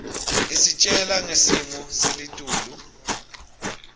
isitjela ngesimo selitulu